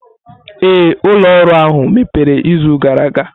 Ee, ụlọ ọrụ ahụ mepere izu gara aga.